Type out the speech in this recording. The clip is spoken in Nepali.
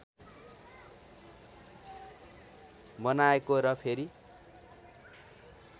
बनाएको र फेरि